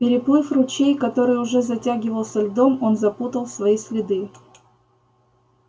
переплыв ручей который уже затягивался льдом он запутал свои следы